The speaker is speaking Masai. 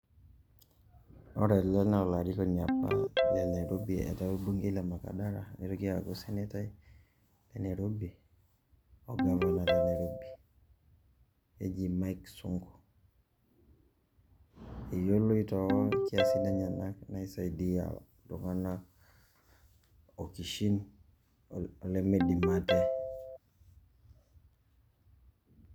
Ore ele naa orakoni apa le Nairobi etaa orbungei la makadara nitoki aaku osenetai le Nairobi orgavanai le Nairobi keji Mike Sonko. Eyoloi too nkiasin enyenak naisaidia iltung'anak okishin olimidim ate.